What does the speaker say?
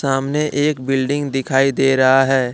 सामने एक बिल्डिंग दिखाई दे रहा हैं।